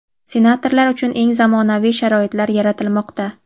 senatorlar uchun eng zamonaviy sharoitlar yaratilmoqda.